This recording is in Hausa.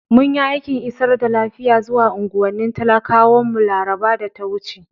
Mun yi aikin isar da lafiya zuwa unguwannin talakawan mu larabar da ta wuce.